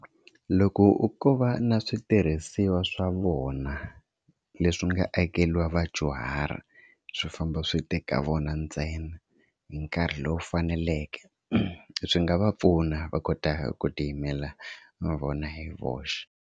Loko ko va na switirhisiwa swa vona leswi nga akeriwa vadyuhari swi famba swi tika vona ntsena hi nkarhi lowu faneleke swi nga va pfuna va kota ku ti yimela mavona hi voxe.